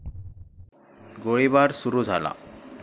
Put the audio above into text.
गोळीबार सुरू झाला.